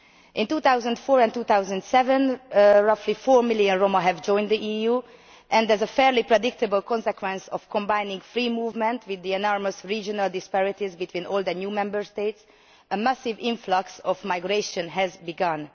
In 2004 and 2007 roughly four million Roma joined the EU, and there is a fairly predictable consequence of combining free movement with the enormous regional disparities between old and new Member States a massive influx of migration has begun.